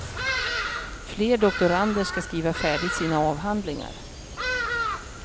Fler doktorander ska skriva färdigt sina avhandlingar.